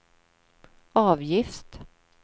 avgift